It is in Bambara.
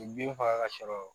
U bin faga ka sɔrɔ